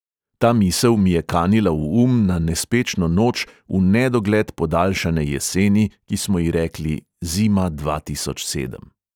Ta misel mi je kanila v um na nespečno noč v nedogled podaljšane jeseni, ki smo ji rekli zima dva tisoč sedem.